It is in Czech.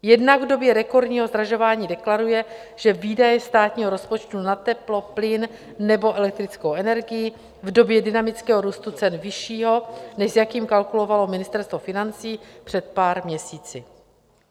Jednak v době rekordního zdražování deklaruje, že výdaje státního rozpočtu na teplo, plyn nebo elektrickou energii, v době dynamického růstu cen vyššího, než s jakým kalkulovalo Ministerstvo financí před pár měsíci.